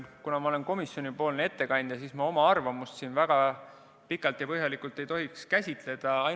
Kuna ma olen komisjonipoolne ettekandja, siis ma oma arvamust siin väga pikalt ja põhjalikult ei tohiks selgitada.